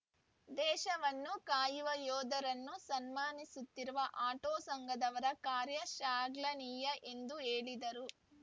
ದೇಶವನ್ನು ಕಾಯುವ ಯೋಧರನ್ನು ಸನ್ಮಾನಿಸುತ್ತಿರುವ ಆಟೋ ಸಂಘದವರ ಕಾರ್ಯ ಶ್ಲಾಘನೀಯ ಎಂದು ಹೇಳಿದರು